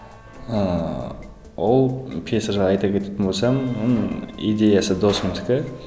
ыыы ол пьеса жайлы айта кететін болсам оның идеясы досымдікі